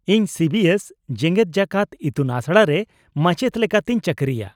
-ᱤᱧ ᱥᱤ ᱵᱤᱥ ᱮᱥ ᱡᱮᱜᱮᱫᱡᱟᱠᱟᱛ ᱤᱛᱩᱱᱟᱥᱲᱟ ᱨᱮ ᱢᱟᱪᱮᱫ ᱞᱮᱠᱟᱛᱤᱧ ᱪᱟᱠᱨᱤᱭᱟ ᱾